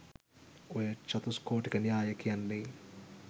ඔය චතුස්කෝටික න්‍යාය කියන්නේ